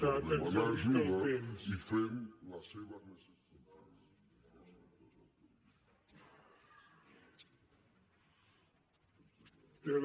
per demanar ajuda i fent les seves necessitats